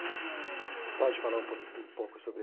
E você pode falar um pouco um pouco